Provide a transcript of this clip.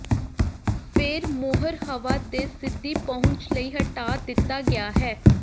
ਫਿਰ ਮੋਹਰ ਹਵਾ ਦੇ ਸਿੱਧੀ ਪਹੁੰਚ ਲਈ ਹਟਾ ਦਿੱਤਾ ਗਿਆ ਹੈ